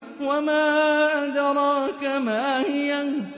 وَمَا أَدْرَاكَ مَا هِيَهْ